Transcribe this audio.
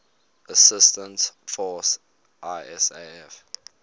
assistance force isaf